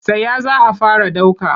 Tsaya za a fara ɗauka!